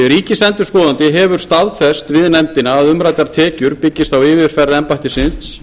ríkisendurskoðandi hefur staðfest við nefndina að umræddar tekjur byggist á yfirferð embættisins